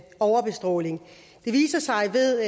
overbestråling det viser sig ved